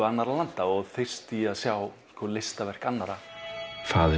annarra landa og þyrst í að sjá listaverk annarra faðir